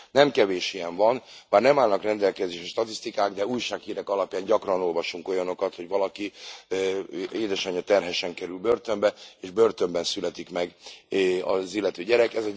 Nem kevés ilyen van, bár nem állnak rendelkezésre statisztikák, de újsághírek alapján gyakran olvasunk olyanokat, hogy valaki terhesen kerül börtönbe, és börtönben születik meg az illető gyerek.